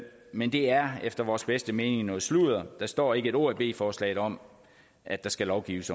men det er efter vores bedste mening noget sludder der står ikke et ord i b forslaget om at der skal lovgives